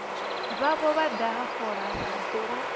vhavho vha daha fola vha